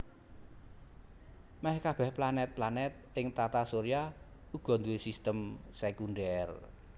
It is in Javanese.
Mèh kabèh planèt planèt ing Tata Surya uga nduwé sistem sékundhèr